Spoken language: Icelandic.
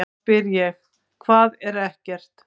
Þá spyr ég: HVAÐ ER EKKERT?